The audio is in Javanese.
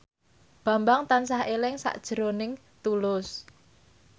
Bambang tansah eling sakjroning Tulus